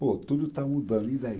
Pô, tudo está mudando, e daí?